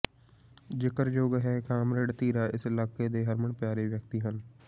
ਜ਼ਿਕਰਯੋਗ ਹੈ ਕਾਮਰੇਡ ਧੀਰਾ ਇਸ ਇਲਾਕੇ ਦੇ ਹਰਮਨ ਪਿਆਰੇ ਵਿਅਕਤੀ ਹਨ